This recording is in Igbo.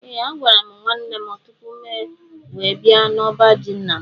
Ee a gwara mụ nwanne mụ tụpụ mụ wee bia na ọbá jị ńnà mụ